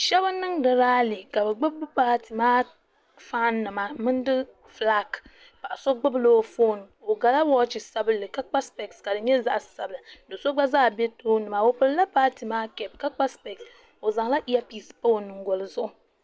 shɛbi n niŋ di rali n gbabi patɛ maa ƒɔnima ni kunidi ƒɔlaaki so gbabila o ƒɔni o gala wachi sabinli ka kpa sipɛsi ka di nyɛ zaɣ' sabilinli ka so gba bia bɛ tuuni maa ka kpa sipɛsi o zan la yɛpisi kpa o tɛbili